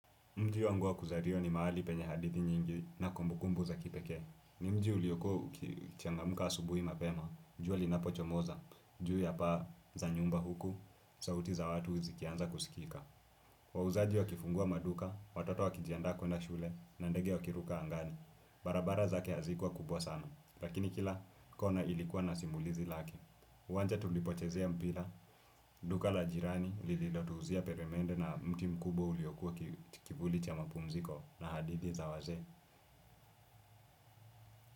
Mji wangu wa kuzaliwa ni mahali penye hadithi nyingi na kumbukumbu za kipekee. Ni mji uliokuwa ukichangamka asubuhi mapema, jua linapochomoza, juu ya paa za nyumba huku sauti za watu zikianza kusikika. Wauzaji wakifungua maduka, watoto wakijiandaa kwenda shule, na ndege wakiruka angani. Barabara zake hazikuwa kubwa sana, lakini kila kona ilikuwa na simulizi lake. Uwanja tulipochezea mpira, duka la jirani lililotuuzia peremende na mti mkubwa uliokuwa kivuli cha mapumziko na hadithi za wazee.